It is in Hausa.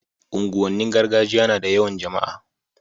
unguwan nin gargajiya nada yawan jama'a